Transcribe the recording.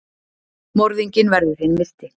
Morðinginn verður hinn myrti.